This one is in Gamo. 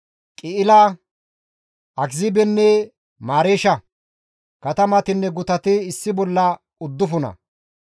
Qi7ila, Akiziibenne Mareesha. Katamatinne gutati issi bolla uddufuna.